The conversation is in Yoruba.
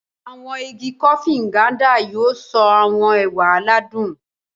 Awọn ìgi Kofi Nganda yóò so awọn ẹwà aládùn.